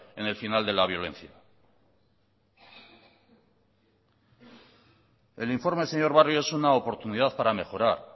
en el final de la violencia el informe señor barrio es una oportunidad para mejorar